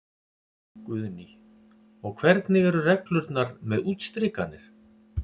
Guðný: Og hvernig eru reglurnar með útstrikanir?